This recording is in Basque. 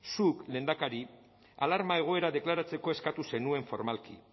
zuk lehendakari alarma egoera deklaratzeko eskatu zenuen formalki